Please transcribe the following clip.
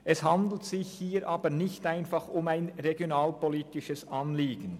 Es handelt sich hier aber nicht einfach um ein regionalpolitisches Anliegen.